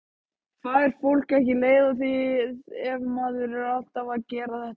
Fær fólk ekki leið á því ef maður er alltaf að gera þetta?